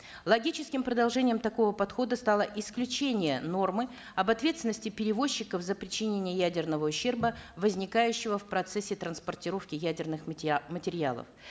логическим продолжением такого подхода стало исключение нормы об ответственности перевозчиков за причинение ядерного ущерба возникающего в процессе транспортировки ядерных материалов